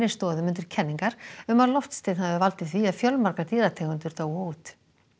stoðum undir kenningar um að loftsteinn hafi valdið því að fjölmargar dýrategundir dóu út